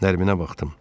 Nərminə baxdım.